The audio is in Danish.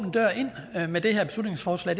at man med det her beslutningsforslag